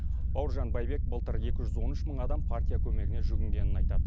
бауыржан байбек былтыр екі жүз он үш мың адам партия көмегіне жүгінгенін айтады